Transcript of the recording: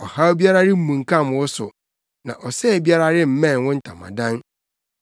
ɔhaw biara remmunkam wo so, na ɔsɛe biara remmɛn wo ntamadan.